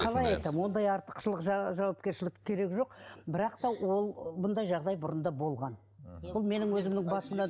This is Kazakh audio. қалай айтамын ондай артықшылық жауапкершілік керегі жоқ бірақ та ол бұндай жағдай бұрында болған мхм бұл менің өзімнің басымда